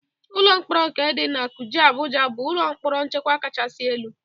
Ụlọ mkporo nke dị na Kuje, Abụja bụ ụlọ mkpọrọ nchekwa kachasi elu.